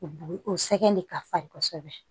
O o sɛgɛn de ka farin kosɛbɛ